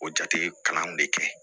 O jate kalanw de kɛ